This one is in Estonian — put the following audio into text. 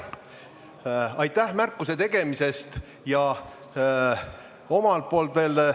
Aitäh märkuse tegemise eest!